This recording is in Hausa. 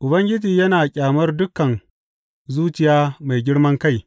Ubangiji yana ƙyamar dukan zuciya mai girman kai.